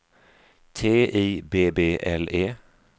T I B B L E